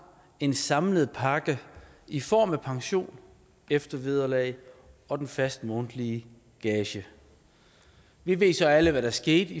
en samlet pakke i form af pension eftervederlag og den faste månedlige gage vi ved så alle hvad der skete